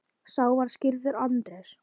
Sá var skírður Andrés.